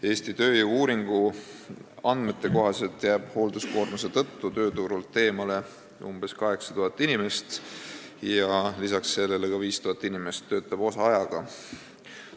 Eesti tööjõu-uuringu andmete kohaselt jääb hoolduskoormuse tõttu tööturult eemale umbes 8000 inimest ja lisaks sellele töötab 5000 inimest seetõttu osaajaga.